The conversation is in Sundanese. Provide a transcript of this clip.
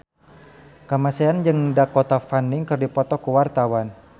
Kamasean jeung Dakota Fanning keur dipoto ku wartawan